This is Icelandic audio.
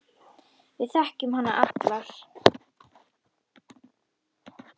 Við þekkjum hana allar.